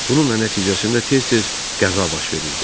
Bununla nəticəsində tez-tez qəza baş verirdi.